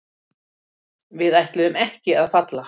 Við ætluðum ekki að falla